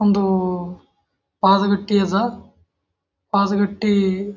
ಒಂದು ಪಾದ ಗಿಟ್ಟಿಅದ ಪಾದ ಗಿಟ್ಟಿ--